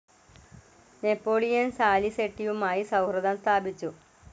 Napoleon സാലിസെട്ടിയുമായി സൌഹൃദം സ്ഥാപിച്ചു.